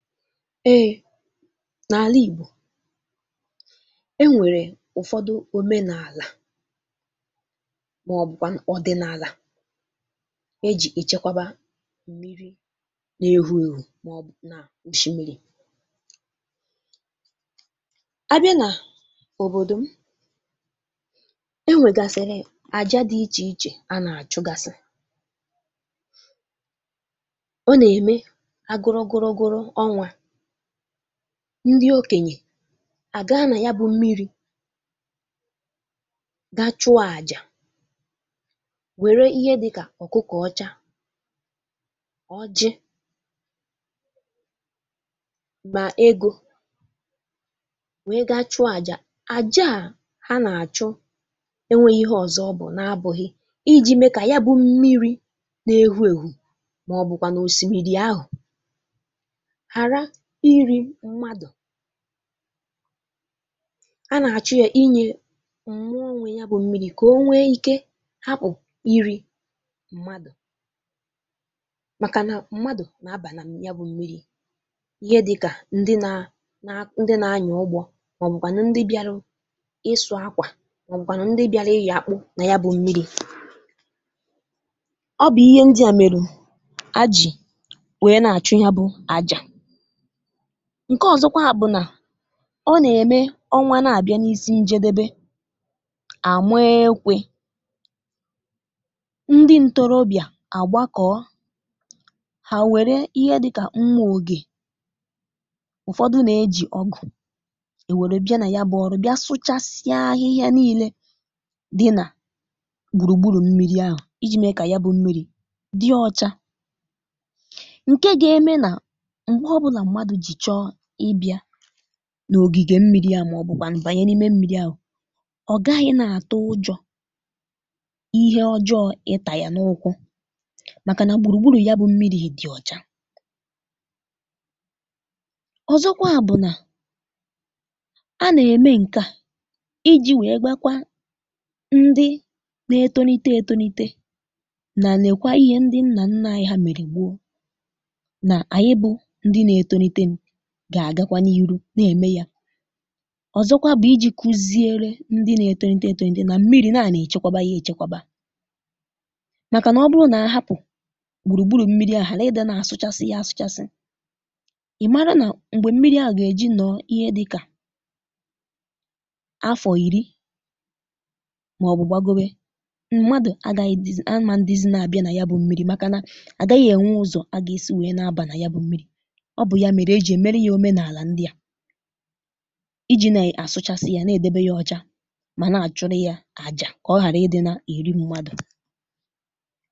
Ee n'ala Igbo, e nwere ụfọdụ omenala maọbụkwanụ ọdịnala e ji echekwaba mmiri na-ehu ehu maọbụ na osimiri. A bịa na obodo m, e nwegasịrị aja dị iche iche a na-achụgasị. Ọ na-eme a gụrụ gụrụ gụrụ, ndị okenye a gaa na yabụ mmiri gaa chụọ àjà, were ihe dị ka ọkụkọ ọcha, ọjị na ego wee ga chụọ àjà. Àjà a na-achụ enweghị ihe ọzọ ọ bụ na-abụghị iji mee ka ya bụ mmiri na-ehu ehu maọbụkwanụ osimiri hapụ iri mmadụ makana mmadụ na-aba na ya bụ mmiri. Ihe dị ka ndị na na na-anya ụgbọ maọbụkwanụ ndị bịara ịsụ ákwà maọbụkwanụ ndị bịara ị́yọ akpụ na ya bụ. Ọ bụ ihe ndị a meru ha ji were na-achụ ya bụ àjà. Nke ọzọkwa bụ na ọ na-eme ọnwa na-abịa n'isi njedebe, a maa ekwe. Ndị ntorobịa a gbakọọ. Ha e were ihe dịka mmá oge, ụfọdụ na-ejikwa ọ́gụ̀,e were bịa na ya bụ ọrụ bia sụchasịa ahịhịa niile dị na gburugburu mmiri ahụ iji mee ka ya bụ mmiri dị ọcha nke ga-eme na mgbe ọbụla mmadụ ji chọọ ịbịa n'ogige mmiri ahụ maọbụkwanụ banye n'ime mmiri ahụ, ọ gaghị na-atụ ụjọ ihe ọjọọ ịta ya n'ụkwụ makana gburugburu ya bụ mmiri dị ọcha. Ọzọkwa bụ na, a na-eme nke a iji wee gwakwa ndị na-etonite etonite na nekwa ihe ndị nna nna anyị ha mere gbóó na anyị bụ ndị na-etonitenu ga-agakwa n'ihu na-eme ya. Ọzọkwa bụ iji kuzi ndị na-etonite etonite na mmiri na a na-echekwaba ya echekwaba makana ọ bụrụ na a hapụ gburugburu ghara ị dị na-asụchasị ya asụchasị, ị mara na mgbe mmiri ahụ ga-eji nọọ ihe di ka afọ iri maọbụ gbagowe, mmadụ agaghị dịz amandịzị na-abịa na ya bụ mmiri makana agaghị enwe ụzọ a ga-esi wee na-aba na ya bụ mmiri. Ọ bụ ya mere e ji e mere ya omenala ndị a iji na-asụchasị ya na-edebe ya ọcha ma na-achụrụ ya àjà ka ọ ghara iri mmadụ.